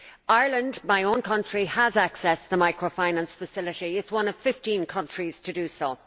Ireland my own country has access to the Microfinance Facility and is one of 15 countries to do so.